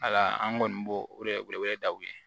Wala an kɔni b'o o de wele wele daw ye